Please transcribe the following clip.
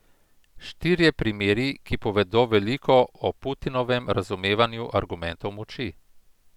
Štirje primeri, ki povedo veliko o Putinovem razumevanju argumentov moči.